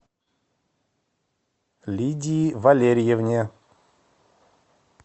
лидии валерьевне